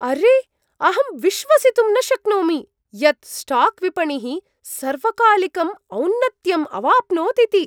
अरे, अहं विश्वसितुं न शक्नोमि यत् स्टाक् विपणिः सर्वकालिकम् औन्नत्यम् अवाप्नोत् इति!